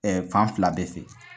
fan fila bɛɛ fɛ.